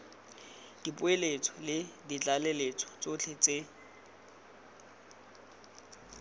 dipoeletso le ditlaleletso tsotlhe tse